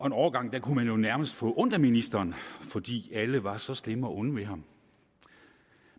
en overgang kunne man jo nærmest få ondt af ministeren fordi alle var så slemme og onde ved ham